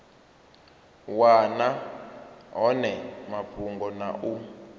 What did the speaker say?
wana hone mafhungo na u